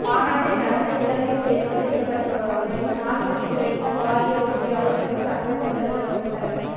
மாநாட்டை நடத்த இலங்கை தெரிவு செய்யப்பட்டமை நாட்டுக்கு கிடைத்த பாரிய வெற்றியாகும் என்று சங்கத்தின் தலைவர் டொக்டர்